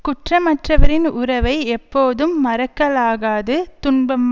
குற்றமற்றவரின் உறவை எப்போதும் மறக்கலாகாது துன்பம்